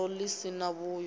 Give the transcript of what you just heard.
gondo ḽi si na vhuyo